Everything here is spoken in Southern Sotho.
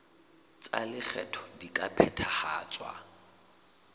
tsa lekgetho di ka phethahatswa